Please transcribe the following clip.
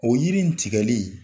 O yiri ni tigɛli